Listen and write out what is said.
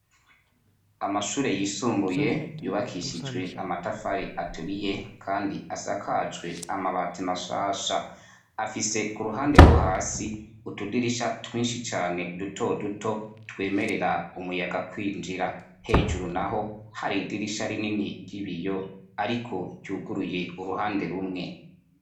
Amashure y'isumbuye yubakishijwe amatafari aturiye kandi asakajwe n'amabati mashasha afise uruhande rwo hasi utudirisha twinshi cane dutoduto twemerera umuyaga kwinjira hejuru naho hari idirisha rinini ry'ibiyo ariko ryuguruye uruhande rumwe.